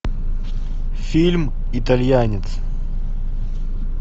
фильм итальянец